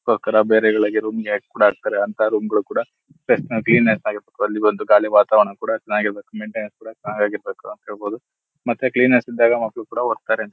ಬೇರೆ ರೂಮ್ ಗಳಿಗೆ ಕೂಡ್ ಹಾಕ್ತರೆ ಅಂತ ರೂಮ್ಗಳು ಕೂಡ ಕ್ಲೀನ್ ಆಗಿ ಇರ್ಬೇಕು ಅಲ್ಲಿ ಗಾಳಿ ವಾತಾವರಣ ಕೂಡ ಚೆನ್ನಾಗಿರಬೇಕು ಮೈಂಟೈನಾನ್ಸ್ ಕೂಡ ಚೆನ್ನಾಗಿರಬೇಕು ಅಂತಹೇಳ್ಬಹುದು ಮತ್ತು ಕ್ಲಿನೆಸ್ಸ್ ಇದ್ದಾಗ ಮಕ್ಳು ಕೂಡ ಹೋಗ್ತಾರೆ.